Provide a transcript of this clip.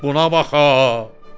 Buna bax ha!